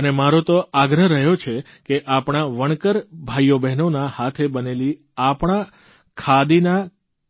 અને મારો તો આગ્રહ રહ્યો છે કે આપણા વણકર ભાઇઓબહેનોના હાથે બનેલી આપણા ખાદીના